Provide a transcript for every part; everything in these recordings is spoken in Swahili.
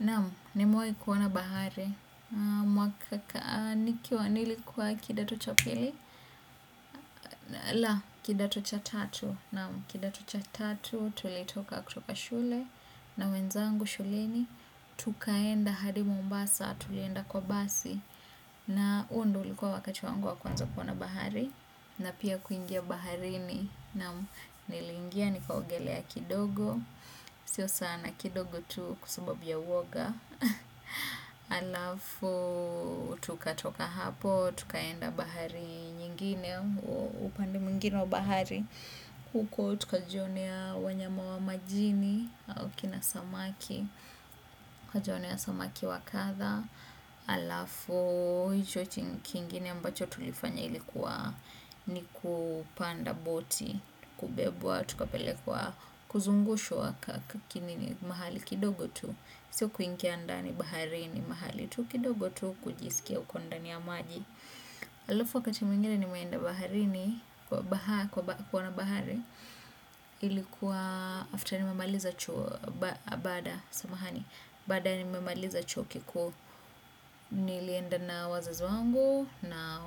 Naam, nimewahi ona bahari, nikiwa kidato cha pili. La, kidato cha tatu. Tulitoka na wenzangu shuleni. Tukaenda hadi mombasa, tulienda kwa basi. Na huo ndio ulikuwa wakati wangu wa kwanza kuoana bahari. Na pia kuingia baharini, nilingia nikaogelea kidogo. Sio sana kidogo tu kwa sababu ya uwoga alafu tukatoka hapo tukaenda bahari nyingine upande mwingine bahari huko tukajionea wanyama wa majini au kina samaki kajionia samaki wakadha halafu hicho kingine ambacho tulifanya ilikua ni kupanda boti, tukabebwa, tukapelekwa, kuzungushwa mahali kidogo tu sio kuingia ndani baharini, mahali kidogo tu kujiskia huko ndani ya maji. Halafu wakati mwingine nimeenda kuona bahari. Ilikuwa baada nimemaliza chuo kikuu. Nilienda na wazazi wangu. Na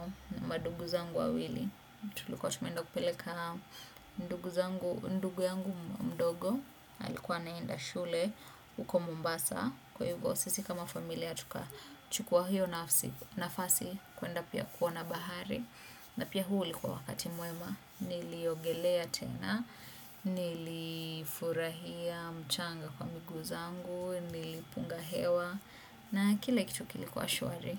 ndugu zangu wawili. Tulikuwa tumeenda kupeleka ndugu yangu mdogo nilikuwa naenda shule huko mombasa. Kwa hivo sisi kama familia tukachukua hiyo nafasi kuenda pia kuona bahari. Na pia huo ulikuwa wakati mwema. Niliogelea tena. Nilifurahia mchanga kwa miguu zangu. Nilipunga hewa. Na kila kitu kilikuwa shwari.